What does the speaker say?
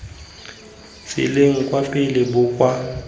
tseleng kwa pele bo kwa